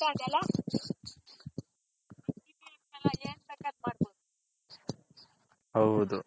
ಹೌದು